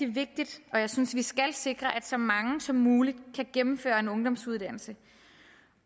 vigtigt og jeg synes vi skal sikre at så mange som muligt kan gennemføre en ungdomsuddannelse